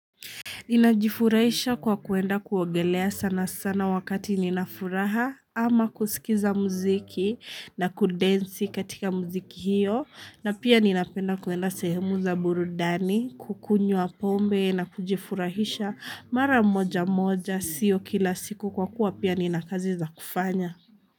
Ninajifurahisha kwa kuenda kuogelea sanasana wakati ninafuraha ama kusikiza muziki na kudensi katika muziki hiyo na pia ninapenda kuenda sehemu za burudani kukunywa pombe na kujifurahisha mara moja moja siyo kila siku kwa kuwa pia nina kazi za kufanya.